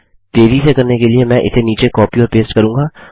तेज़ी से करने के लिए मैं इसे नीचे कॉपी और पेस्ट करूँगा